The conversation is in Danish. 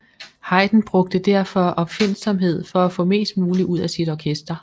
Haydn brugte derfor opfindsomhed for at få mest muligt ud af sit orkester